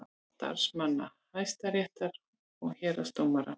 Starfsmanna Hæstaréttar og héraðsdómstóla.